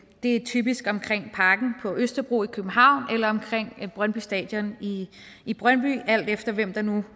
det er typisk omkring parken på østerbro i københavn eller omkring brøndby stadion i brøndby alt efter hvem der nu